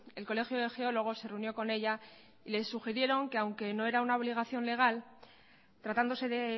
el colegio de geólogos se reunió con ella y le sugirieron que aunque no era una obligación legal tratándose de